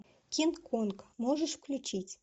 кинг конг можешь включить